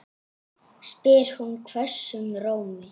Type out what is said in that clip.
Skerið lauk og papriku smátt.